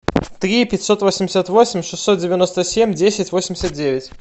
три пятьсот восемьдесят восемь шестьсот девяносто семь десять восемьдесят девять